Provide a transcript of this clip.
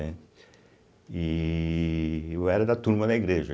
e eu era da Turma da Igreja.